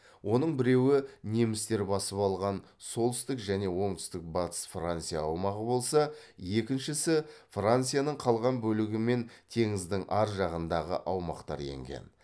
оның біреуі немістер басып алған солтүстік және оңтүстік батыс франция аумағы болса екіншісі францияның қалған бөлігі мен теңіздің ар жағындағы аумақтар енген